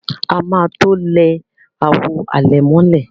A má to lẹ àwọ̀ alẹ̀mọ́lẹ̀.